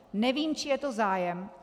Nevím, čí je to zájem.